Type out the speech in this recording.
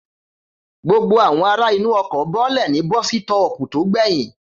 Gbogbo àwọn ará inú ọkọ̀ bọ́lẹ̀ ní bọ́sítọ̀ọ̀pù tó gbẹyìn